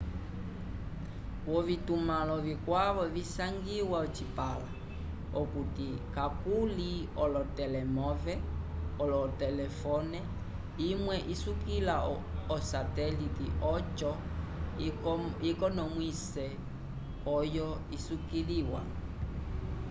v'ovitumãlo vikwavo visangiwa ocipãla okuti kakuli olotelemove otelefone imwe isukila osatelite oco ikonomwise oyo isukiliwa